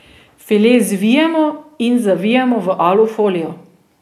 File zvijemo in zavijemo v alu folijo.